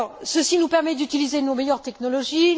Ceci nous permet d'utiliser nos meilleures technologies.